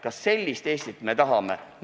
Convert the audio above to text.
Kas sellist Eestit me tahame?